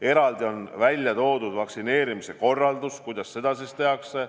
Eraldi on toodud vaktsineerimise korraldus, kuidas seda tehakse.